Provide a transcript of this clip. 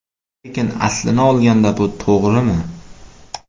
Lekin aslini olganda bu to‘g‘rimi?